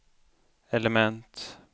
element